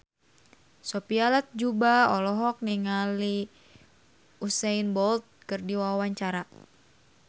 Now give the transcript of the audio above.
Sophia Latjuba olohok ningali Usain Bolt keur diwawancara